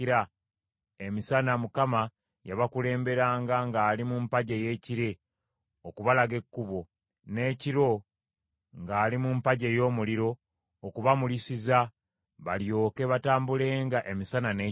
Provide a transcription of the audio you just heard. Emisana Mukama yabakulemberanga ng’ali mu mpagi ey’ekire okubalaga ekkubo, n’ekiro ng’ali mu mpagi ey’omuliro okubamulisiza, balyoke batambulenga emisana n’ekiro.